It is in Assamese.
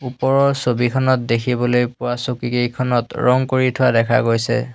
ওপৰৰ ছবিখনত দেখিবলৈ পোৱা চকীকেইখনত ৰং কৰি থোৱা দেখা গৈছে।